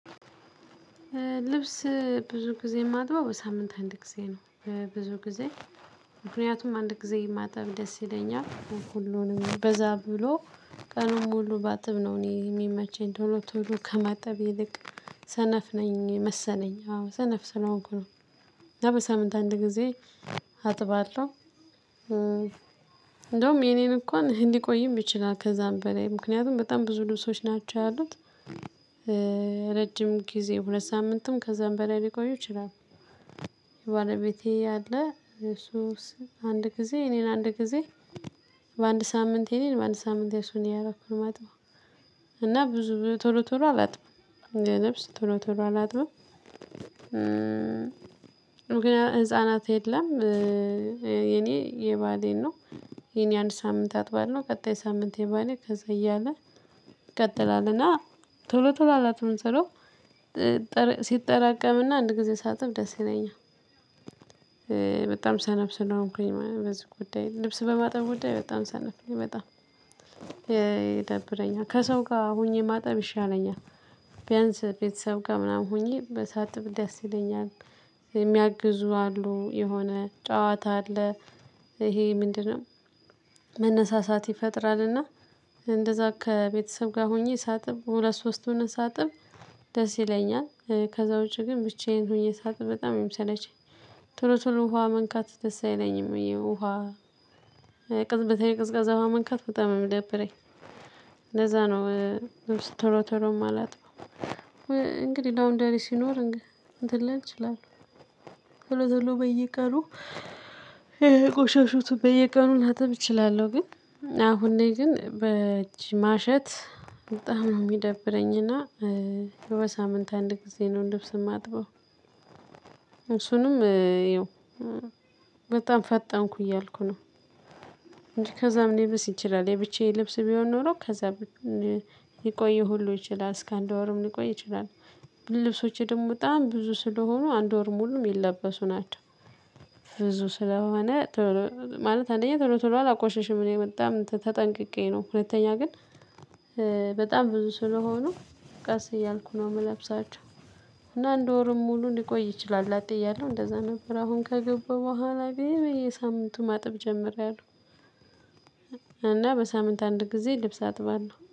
ልብስ ብዙ ጊዜ የማጥበው በሳምንት አንድ ጊዜ ነው። ብዙ ጊዜ ምክንያቱም አንድ ጊዜ ማጠብ ደስ ይለኛል ሁሉንም በዛ ብሎ። ቀኑን ሙሉ ባጥብ ነው እኔ የሚመቸኝ ቶሎ ቶሎ ከማጠብ ይልቅ ሰነፍ ነኝ መሰነኝ አዎ ሰነፍ ስለሆንኩ ነው። እና በሳምንት አንድ ጊዜ አጥባለሁ። እንደውም የኔን እንኳን ሊቆይም ይችላል ከዛም በላይ ምክንያቱም በጣም ብዙ ልብሶች ናቸው ያሉት። ረጅም ጊዜ ሁለት ሳምንትም ከዛም በላይ ሊቆዩ ይችላሉ። የባለቤቴ አለ የእሱን አንድ ጊዜ የእኔን አንድ ጊዜ በአንድ ሳምንት የኔን በአንድ ሳምንት የሱን እያደረኩኝ ነው የማጥበው። እና ብዙ ቶሎ ቶሎ አላጥም ለልብስ ቶሎ ቶሎ አላጥም። ምክንያቱም ህፃናት የለም። የኔ የባሌን ነው የኔ አንድ ሳምንት አጥባለሁ ቀጣይ ሳምንት የባሌ ከዛ እያለ ይቀጥላል። እና ቶሎ ቶሎ አላጥም ስለው ሲጠራቀም እና አንድ ጊዜ ሳጥብ ደስ ይለኛል። በጣም ሰነፍ ስለሆንኩኝ በዚህ ጉዳይ ልብስ በማጠብ ጉዳይ በጣም ሰነፍ በጣም። ይደብረኛል ከሰው ጋር ሆኜ ማጠብ ይሻለኛል። ቢያንስ ቤተሰብ ጋር ምናምን ሆኜ ሳጥብ ደስ ይለኛል። የሚያግዙ አሉ የሆነ ጨዋታ አለ። ይሄ ምንድነው? መነሳሳት ይፈጥራልና። እንደዛ ከቤተሰብ ጋር ሆኜ ሳጥብ ሁለት ሶስት ሁነን ሳጥብ ደስ ይለኛል። ከዛ ውጪ ግን ብቻዬን ሆኜ ሳጥብ በጣም ነው የሚሰለቸኝ። ቶሎ ቶሎ ውሃ መንካት ደስ አይለኝም። የውሃ ቅፅበታዊ ቀዝቃዛ ውሃ መንካት በጣም ነው የሚደብረኝ። ለዛ ነው። ቶሎ ቶሎ የማላጥበው። እንግዲህ ላውንደሪ ሲኖር እንትን ልል እችላለሁ ቶሎ ቶሎ በየቀኑ የቆሸሽቱን በየቀኑ ላጥብ እችላለሁ። ግን አሁን ላይ ግን በእጅ ማሸት በጣም ነው የሚደብረኝ። እና በሳምንት አንድ ጊዜ ነው ልብስ የማጥበው። እሱንም ይኸው በጣም ፈጠንኩ እያልኩ ነው። ከዛም ሊብስ ይችላል የብቻዬ ልብስ ቢሆን ኖሮ ከዛም ሊቆይ ሁሉ ይችላል እስከ አንድ ወርም ሊቆይ ይችላል። ልብሶቸ ደግሞ በጣም ብዙ ስለሆኑ አንድ ወር ሙሉ የሚለበሱ ናቸው። ብዙ ስለሆነ ማለት አንደኛ ቶሎ ቶሎ አላቆሽሽም እኔ በጣም ተጠንቅቄ ነው። ሁለተኛ ግን በጣም ብዙ ስለሆኑ ቀስ እያልኩ ነው የምለብሳቸው። እና አንድ ወሩን ሙሉ ሊቆይ ይችላል ላጤ እያለሁ እንደዛ ነበር አሁን ካገባው በኋላ በየሳምንቱ ማጠብ ጀምሬያለሁ። እና በሳምንት አንድ ጊዜ ልብስ አጥባለሁ